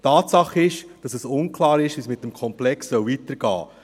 Tatsache ist, dass es unklar ist, wie es mit dem Komplex weitergehen soll.